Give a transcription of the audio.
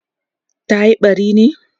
tayi ɓari ne?